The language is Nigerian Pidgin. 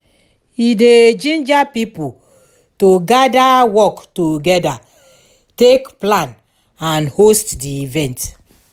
e dey ginger pipo to gather work togeda take plan and host di event